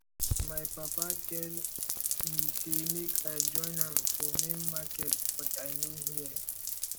my papa tell me say make i join am for main market but i no hear